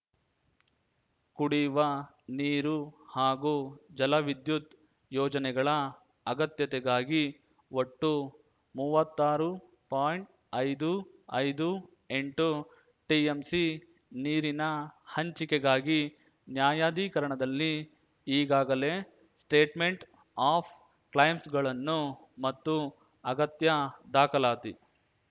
ಕುಡಿಯುವ ನೀರು ಹಾಗೂ ಜಲ ವಿದ್ಯುತ್‌ ಯೋಜನೆಗಳ ಅಗತ್ಯತೆಗಾಗಿ ಒಟ್ಟು ಮೂವತ್ತಾರು ಪಾಯಿಂಟ್ಐದು ಐದು ಎಂಟು ಟಿಎಂಸಿ ನೀರಿನ ಹಂಚಿಕೆಗಾಗಿ ನ್ಯಾಯಾಧಿಕರಣದಲ್ಲಿ ಈಗಾಗಲೇ ಸ್ಟೇಟ್‌ಮೆಂಟ್‌ ಆಫ್‌ ಕ್ಲೇಮ್ಸ್‌ಗಳನ್ನು ಮತ್ತು ಅಗತ್ಯ ದಾಖಲಾತಿ